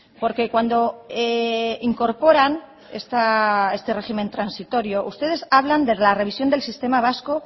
porque cuando incorporan este régimen transitorio ustedes hablan de la revisión del sistema vasco